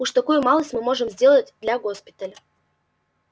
уж такую малость мы можем сделать для госпиталя